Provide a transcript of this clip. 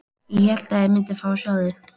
Ég hélt að ég myndi fá að sjá þig.